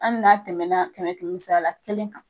An n'a tɛmɛna kɛmɛ kɛmɛ sara la kelen kan